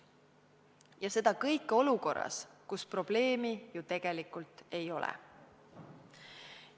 Ja seda kõike plaanitakse olukorras, kus probleemi ju tegelikult ei ole.